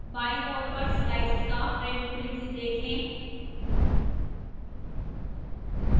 बाईं ओर पर slides का print preview देखें